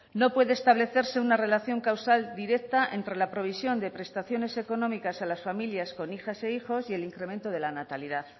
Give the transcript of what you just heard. no puede establecerse una relación causal directa entre la provisión de prestaciones económicas a las familias con hijas e hijos y el incremento de la natalidad